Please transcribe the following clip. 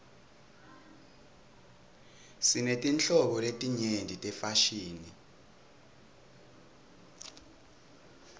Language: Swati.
sinetinhlobo letinyenti tefashini